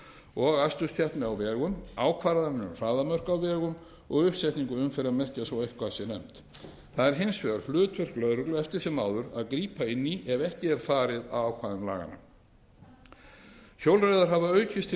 og aksturskeppni á vegum ákvarðanir um hraðamörk á vegum og uppsetningu umferðarmerkja svo eitthvað sé nefnt það er hins vegar hlutverk lögreglu eftir sem áður að grípa inn í ef ekki er farið að ákvæðum laganna hjólreiðar hafa aukist til